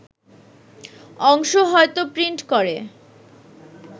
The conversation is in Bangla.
অংশ হয়তো প্রিন্ট করে